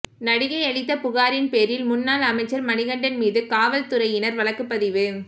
நடிகை அளித்த புகாரின் பேரில் முன்னாள் அமைச்சர் மணிகண்டன் மீது காவல்துறையினர் வழக்குப்பதிவு